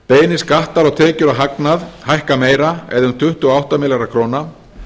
beinir skattar á tekjur og hagnað hækka meira eða um tuttugu og átta milljarða króna